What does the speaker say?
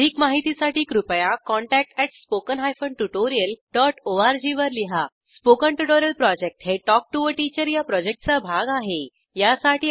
अधिक माहितीसाठी कृपया contactspoken tutorialorg वर लिहा स्पोकन ट्युटोरियल प्रॉजेक्ट हे टॉक टू टीचर या प्रॉजेक्टचा भाग आहे